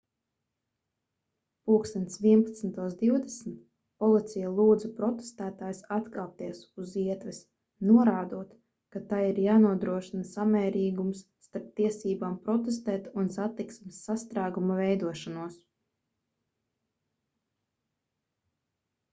plkst 11:20 policija lūdza protestētājus atkāpties uz ietves norādot ka tai ir jānodrošina samērīgums starp tiesībām protestēt un satiksmes sastrēgumu veidošanos